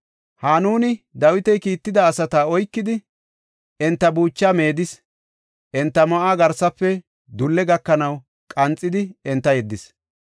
Hanuni Dawiti kiitida asata oykidi, enta buuchaa meedis; enta ma7uwa garsafe dulle gakanaw qanxidi enta yeddis.